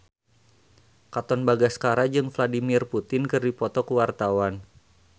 Katon Bagaskara jeung Vladimir Putin keur dipoto ku wartawan